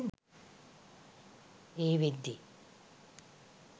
ඒ වෙද්දි